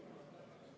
Härra Põlluaas.